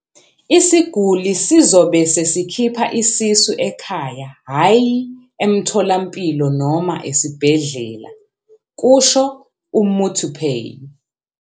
"Isiguli sizobe sesikhipha isisu ekhaya hhayi emtholampilo noma esibhedlela," kusho uMuthuphei."